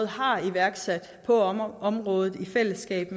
har iværksat på området i fællesskab